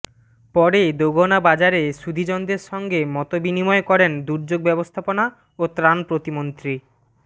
পরে দোগনা বাজারে সুধিজনদের সঙ্গে মতবিনিময় করেন দুর্যোগ ব্যবস্থাপনা ও ত্রাণ প্রতিমন্ত্রী ডা